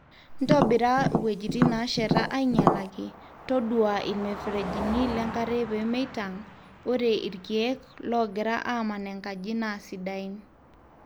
ntobira wuejitin nasheta ainyalaki, todua ilmuferejini lenkare pemeitang, ore ilkiek longira aaman enkaji naa sidain